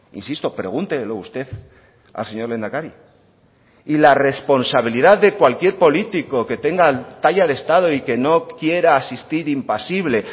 insisto pregúntelo usted al señor lehendakari y la responsabilidad de cualquier político que tenga talla de estado y que no quiera asistir impasible